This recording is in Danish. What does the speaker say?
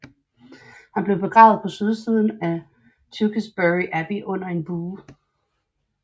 Han blev begravet på sydsiden af Tewkesbury Abbey under en bue